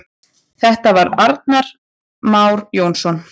Þetta var Agnar Már Jónsson.